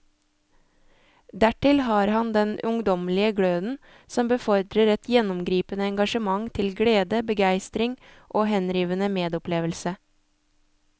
Dertil har han den ungdommelige gløden som befordrer et gjennomgripende engasjement til glede, begeistring og henrivende medopplevelse.